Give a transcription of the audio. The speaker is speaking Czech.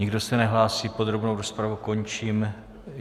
Nikdo se nehlásí, podrobnou rozpravu končím.